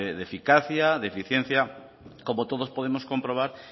de eficacia de eficiencia como todos podemos comprobar